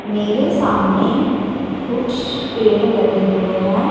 मेरे सामने कुछ पेड़ लगे हुए हैं।